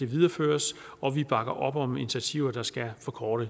videreføres og vi bakker op om initiativer der skal forkorte